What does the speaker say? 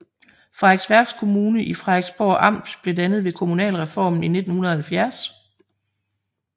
Frederiksværk Kommune i Frederiksborg Amt blev dannet ved kommunalreformen i 1970